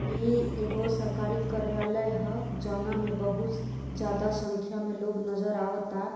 ई एगो सरकारी कार्यालय ह जौना मे बहुत ज्यादा संख्या मे लोग नजर आवतता।